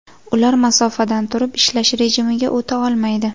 Ular masofadan turib ishlash rejimiga o‘ta olmaydi.